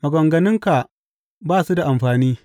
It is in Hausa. Maganganunka ba su da amfani.